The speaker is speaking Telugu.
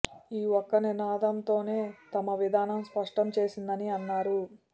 ఈ ఒక్క నినాదంతోనే తమ విధానం స్పష్టం చేసిందని అన్నారు